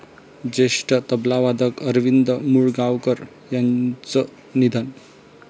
ज्येष्ठ तबलावादक अरविंद मुळगावकर यांचं निधन